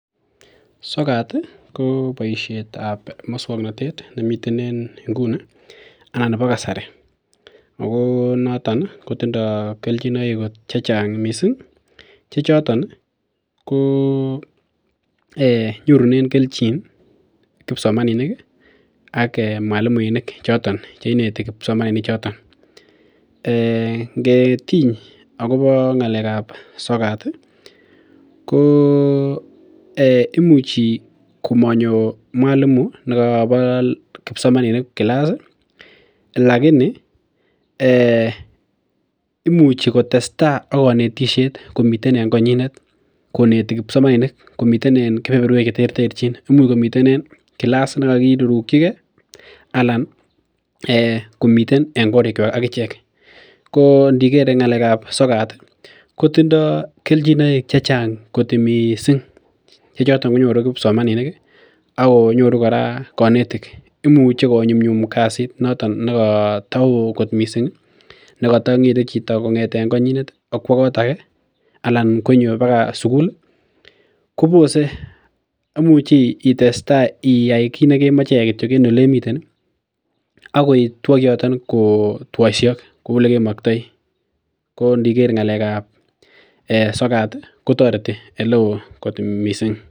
Sokat ih ko boisietab muswongnotet nemiten en nguni ana nebo kasari ako noton kotindoo kelchinoik chechang kot missing chechoton ih ko nyorunen kelchin kipsomaninik ak mwalimuinik choton cheineti kipsomaninik choton um ngetiny akobo ng'alek ab sokat ih ko imuchi komanyo mwalimu nekobo kipsomaninik class ih lakini imuchi kotesetai ak konetisiet komiten en konyinet koneti kipsomaninik komiten kebeberwek cheterterchin imuch komiten en class nekokirurukyigee anan komiten en korik kwak ak ichek ko ndiker ng'alek ab sokat kotindoo kelchinoik chechang kot missing chechoton konyoru kipsomaninik ih akonyoru kora konetik imuche konyumnyum kasit noton nekoto oo kot missing nekotong'ete chito kong'eten konyinet akwo kot ake anan konyo baka sukul kobose imuchi itestaa iyai kit nekemoche iyai kityok en olemiten ih akotwo kioton kotwoisiok kou elemoktoi ko ndiker ng'alek ab sokat kotoreti eleoo kot missing